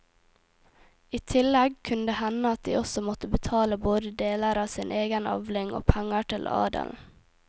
I tillegg kunne det hende at de også måtte betale både deler av sin egen avling og penger til adelen.